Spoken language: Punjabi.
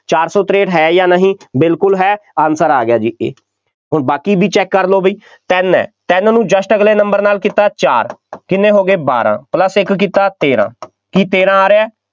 ਚਾਰ ਸੌ ਤਰੇਂਹਠ ਹੈ ਜਾਂ ਨਹੀਂ, ਬਿਲਕੁੱਲ ਹੈ answer ਆ ਗਿਆ ਜੀ, ਹੁਣ ਬਾਕੀ ਵੀ check ਕਰ ਲਉ ਬਈ ਤਿੰਨ ਹੈ, ਤਿੰਨ ਨੂੰ just ਅਗਲੇ number ਨਾਲ ਕੀਤਾ, ਚਾਰ, ਕਿੰਨੇ ਹੋ ਗਏ, ਬਾਰਾਂ plus ਇੱਕ ਕੀਤਾ, ਤੇਰਾਂ, ਕੀ ਤੇਰਾਂ ਆ ਰਿਹਾ,